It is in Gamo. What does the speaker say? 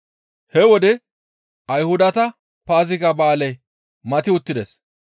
He wode Ayhudata Paaziga ba7aaley mati uttides.